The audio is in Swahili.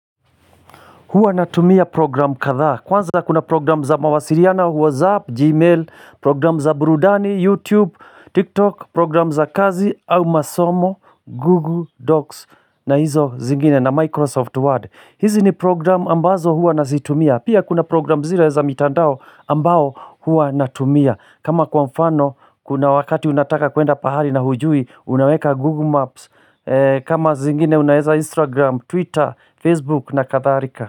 Huwa natumia programu kadhaa. Kwanza kuna programu za mawasiliano, whatsapp, gmail, programu za burudani, youtube, tiktok, programu za kazi au masomo, google docs na hizo zingine na microsoft word. Hizi ni programu ambazo huwa nazitumia. Pia kuna program zile za mitandao ambao huwa natumia. Kama kwa mfano kuna wakati unataka kuenda pahali na hujui unaweka google maps. Kama zingine unaeza instagram, twitter, facebook na kadhalika.